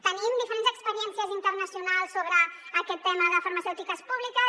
tenim diferents experiències internacionals sobre aquest tema de farmacèutiques públiques